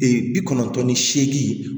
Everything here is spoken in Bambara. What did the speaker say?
bi kɔnɔntɔn ni seegin